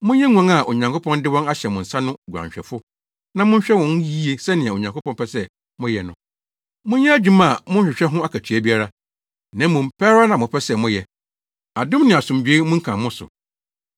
monyɛ nguan a Onyankopɔn de wɔn ahyɛ mo nsa no nguanhwɛfo na monhwɛ wɔn yiye sɛnea Onyankopɔn pɛ sɛ moyɛ no. Monyɛ adwuma a monhwehwɛ ho akatua biara, na mmom pɛ ara na mopɛ sɛ moyɛ. Adom ne asomdwoe mmunkam mo so.